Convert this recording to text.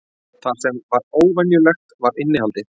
Það sem var óvenjulegt var innihaldið.